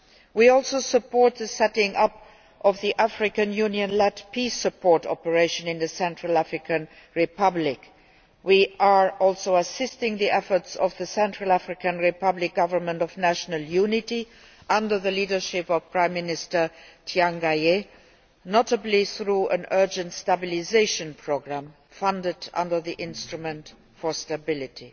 We also support the setting up of the African Union led peace support operation in the Central African Republic. We are also assisting the efforts of the Central African Republic Government of National Unity under the leadership of Prime Minister Tiangaye, notably through an urgent stabilisation programme, funded under the instrument for stability.